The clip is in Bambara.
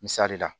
Misali la